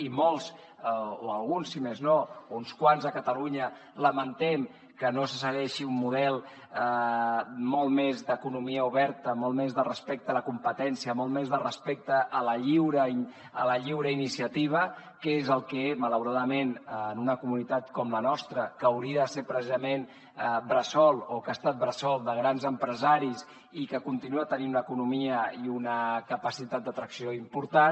i molts o alguns si més no uns quants a catalunya lamentem que no se segueixi un model molt més d’economia oberta molt més de respecte a la competència molt més de respecte a la lliure iniciativa que és el que malauradament en una comunitat com la nostra que hauria de ser precisament bressol o que ha estat bressol de grans empresaris i que continua tenint una economia i una capacitat d’atracció important